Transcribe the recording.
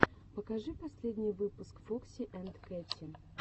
покажи последний выпуск фокси анд кэтти